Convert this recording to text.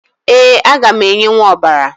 Ee, aga m enyenwu ọbara